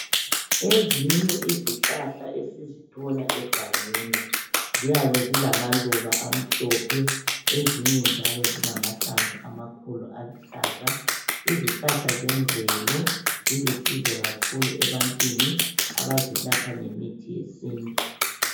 Ezinye izihlahla esizithola egangeni ziyabe zilamaluba amhlophe, ezinye njalo zilamahlamvu amakhulu aluhlaza izihlahla zemvelo zilusizo kakhulu ebantwini abazelapha ngemithi yesintu.